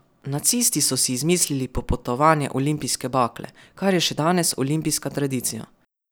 Nacisti so si izmislili popotovanje olimpijske bakle, kar je še danes olimpijska tradicija.